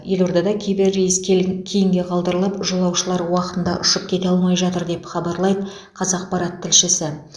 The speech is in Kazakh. елордада кейбір рейс кейінге қалдырылып жолаушылар уақытында ұшып кете алмай жатыр деп хабарлайды қазақпарат тілшісі